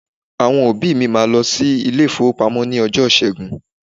Àwọn òbí mi máa lọ sí ilé-ìfowópamọ́ ní ọjọ́ Ìṣẹ́gun.